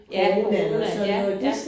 Ja corona ja ja